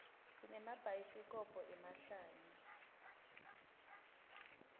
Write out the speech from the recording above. sinemabhayaisikhobo emahlaya